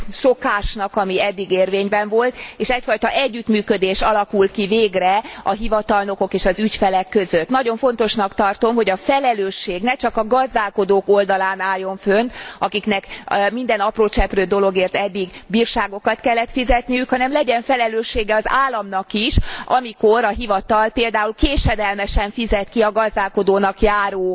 szokásnak, ami eddig érvényben volt, és egyfajta együttműködés alakul ki végre a hivatalnokok és az ügyfelek között. Nagyon fontosnak tartom, hogy a felelősség ne csak a gazdálkodók oldalán álljon fönn, akiknek minden apró cseprő dologért eddig bírságokat kellett fizetniük, hanem legyen felelőssége az államnak is, amikor a hivatal például késedelmesen fizet ki a gazdálkodónak járó